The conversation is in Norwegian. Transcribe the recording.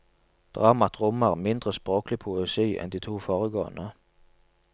Dramaet rommer mindre språklig poesi enn de to foregående.